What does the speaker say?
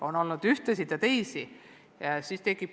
On olnud üht liiki ja teist liiki küsimusi.